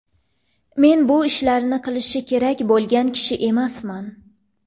Men bu ishlarni qilishi kerak bo‘lgan kishi emasman.